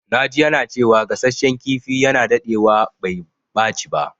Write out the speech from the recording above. Na ji yana cewa gasashen kifi yana dadewa bai ɓaci ba.